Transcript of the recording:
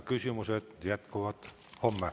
Küsimustega jätkame homme.